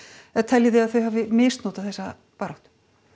eða teljið þið að þau hafi misnotað þessa baráttu